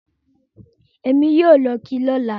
Ẹ̀mi yóò lọ kí i lọ́là